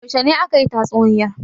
Yaushe ne aka yi tatsuniyar?